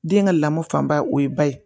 Den ka lamɔ fanba o ye ba ye